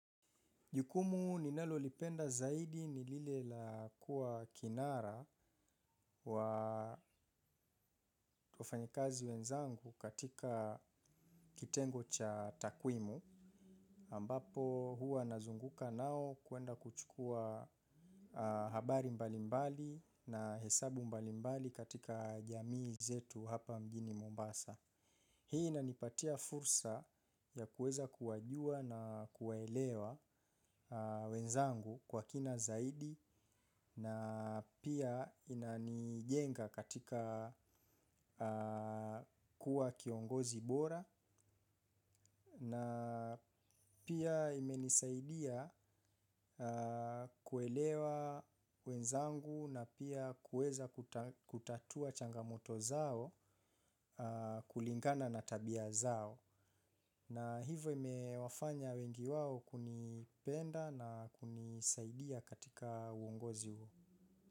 Jukumu ninalo lipenda zaidi ni lile la kuwa kinara wa wafanyikazi wenzangu katika kitengo cha takwimu ambapo huwa nazunguka na wao kwenda kuchukua habari mbalimbali na hesabu mbalimbali katika jamii zetu hapa mjini Mombasa. Hii na inipatia fursa ya kuweza kuwajua na kuwaelewa wenzangu kwa kina zaidi na pia inanijenga katika kuwa kiongozi bora na pia imenisaidia kuelewa wenzangu na pia kuweza kutatua changamoto zao kulingana na tabia zao. Na hivyo ime wafanya wengi wao kunipenda na kunisaidia katika uongozi huo.